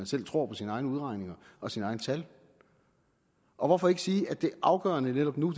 selv tror på sine egne udregninger og sine egne tal og hvorfor ikke sige at det afgørende netop nu